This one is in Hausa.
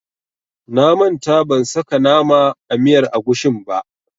Na manta ban saka nama a miyar agushin ba.